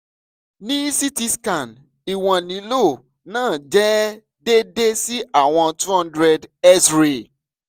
ni ct scan iwọn lilo naa jẹ deede si awọn two hundred x-ray